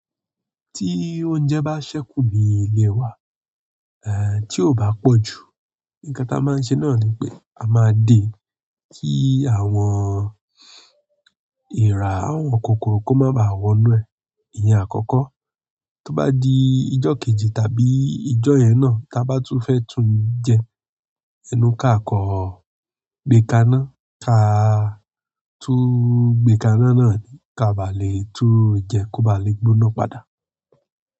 Tí oúnjẹ bá ṣẹ́kù ní ilé wa, eh tí ó bá pọ̀ jù, nǹkan tí a máa ń ṣe náà ni pé a máa dè kí àwọn ìrá, àwọn kòkòrò kó má ba à wọ inú ẹ̀. Ìyẹn àkọ́kọ́, tó bá dii ijọ́ kejì tàbí ijọ́ yẹn náà ta bá tún fẹ́ tún jẹ́ ẹnu kaa kàn-án gbé kaná kaa tún gbé kaná náà ká bà lé tún jẹ́ kó bàa lè gbóná padà.